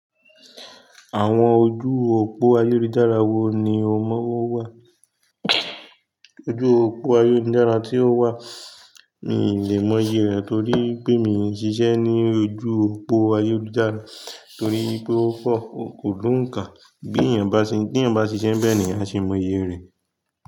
Àwọn ojú òpó ayélujára wo ni o mọ wá? Ojú òpó ayélujára tí o wà mi ì lè mọ iye rẹ torí pé mi ò n ṣiṣẹ́ ní ojú òpó ayélujára torí pé ó pọ̀, kò dùn ká. Bí èèyàn bá ṣe, bí èèyàn bá ṣiṣẹ́ bẹ ni àá ṣè mọ iye rẹ.